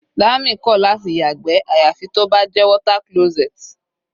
Dami kò láti yàgbẹ́ àyàfi tó bá jẹ́ water closet.